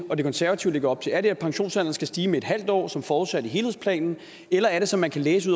og de konservative lægger op til er det at pensionsalderen skal stige med en halv år som forudsat i helhedsplanen eller er det som man kan læse